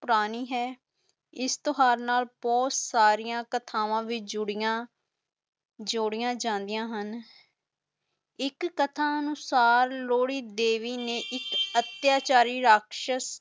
ਪੁਰਾਣੀ ਹੈ ਇਸ ਤਿਓਹਾਰ ਨਾਲ ਬਹੁਤ ਕਥਾਵਾਂ ਬ ਜੁੜੀਆਂ ਜੋੜਿਆਂ ਜਾਂਦੀਆਂ ਹੁਣ ਇਸ ਕਥਾ ਅਨੁਸਾਰ ਲੋਹੜੀ ਦੇਵੀ ਨੇ ਇੱਕ ਅਤਿਆਚਾਰੀ ਰਾਕਸ਼ਸ